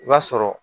I b'a sɔrɔ